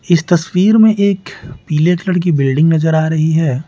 इस तस्वीर में एक पीले कलर की ब्लेंडिंग नजर आ रही है।